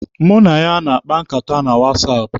Mụ na ya na-akpa nkata na wasaapụ.